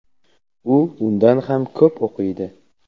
u undan ham ko‘p o‘qiydi.